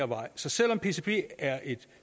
vej så selv om pcb er et